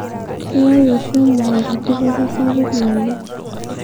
keyau oshi emukunta dupoto sapuk naleng